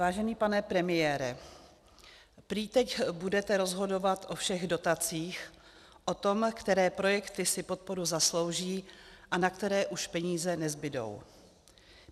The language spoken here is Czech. Vážený pane premiére, prý teď budete rozhodovat o všech dotacích, o tom, které projekty si podporu zaslouží a na které už peníze nezbudou.